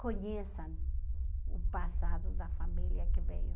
conheçam o passado da família que veio.